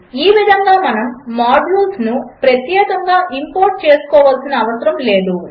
ఈ విధంగా మనము మాడ్యూల్స్ను ప్రత్యేకముగా ఇంపోర్ట్ చేసుకోనవసరము లేదు